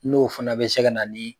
N'o fana bɛ se ka na ni